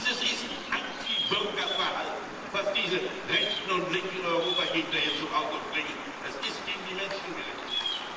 Dieses ist Antibürgerverhalten, was diese rechten und linken Europagegner hier zum Ausdruck bringen, es ist gegen die Menschen gerichtet.